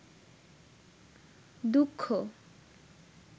দুঃখ